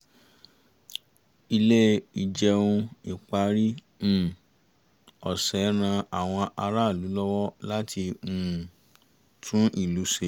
ilé ìjẹun ìparí um ọ̀sẹ̀ ran àwọn aráàlú lọwọ láti um tún ilé ṣe